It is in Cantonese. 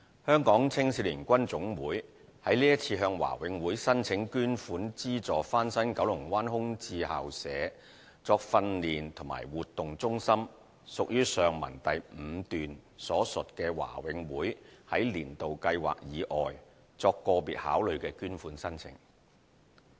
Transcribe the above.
香港青少年軍總會是次向華永會申請捐款資助翻新九龍灣空置校舍作訓練及活動中心，屬於上文第五段所述華永會在"年度計劃"以外作個別考慮的捐款申請。